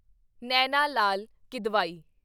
Naina Lal Kidwai